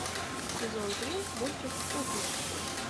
сезон три мультик кухня